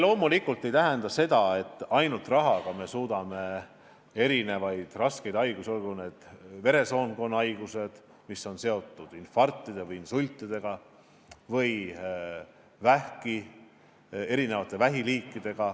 Loomulikult ei suuda me ainult rahaga ära hoida erinevaid raskeid haigusi, olgu need veresoonkonnahaigused, mis on seotud infarktide ja insultidega, või eri liiki vähid.